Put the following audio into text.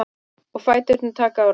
Og fæturnir taka á rás.